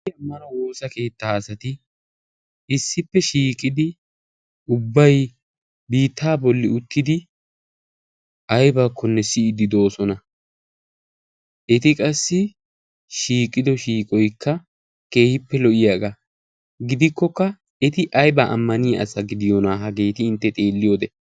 ammanuwa woosa keettaa asati issippe shiiqidi ubbai biittaa bolli uttidi aibaakkonne siyiddi doosona. eti qassi shiiqido shiiqoikka keehippe lo77iyaagaa gidikkokka eti aibaa ammaniya asa gidiyoonaa hageeti intte xeelli wode?